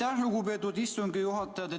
Aitäh, lugupeetud istungi juhataja!